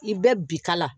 I bɛ bikala